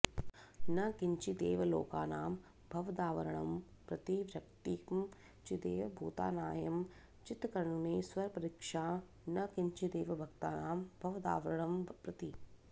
न किञ्चिदेव लोकानां भवदावरणं प्रति वर्यत्किं चिदेव भूतानांएं चित्णरेस्वरपरीक्सा न किञ्चिदेव भक्तानां भवदावरणं प्रति